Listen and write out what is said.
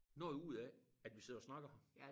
Noget ud af at vi sidder og snakker